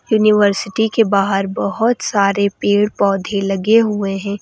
University के बाहर बहुत सारे पेड़ पौधे लगे हुए हैं।